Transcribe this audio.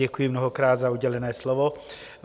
Děkuji mnohokrát za udělené slovo.